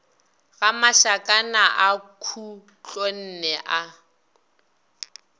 ga mašakana a khutlonne a